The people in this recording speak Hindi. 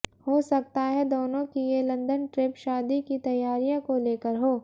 हो सकता है दोनों की ये लंदन ट्रीप शादी की तैयारियों को लेकर हो